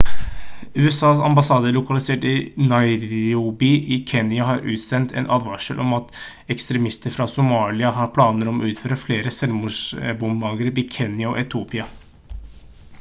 usas ambassade lokalisert i nairobi i kenya har utstedt en advarsel om at «ekstremister fra somalia» har planer om å utføre flere selvmordsbombeangrep i kenya og etiopia